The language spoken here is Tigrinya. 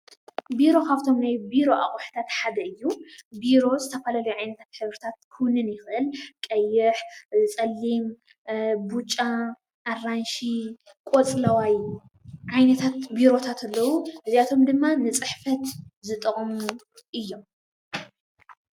ቢሮ ካፍቶም ናይ ቢሮ ኣቑሑታት ሓደ እዩ፡፡ ቢሮ ዝተፈላለየ ዓይነታት ሕብርታት ክውንን ይኽእል፡፡ ቀይሕ፣ ፀሊም፣ ቡጫ፣ ኣራንሺ፣ ቆፅለዋይ ዓይነታት ቢሮታት ኣለዉ፡፡ እዚኣቶም ድማ ንፅሕፈት ዝጠቕሙ እዩም፡፡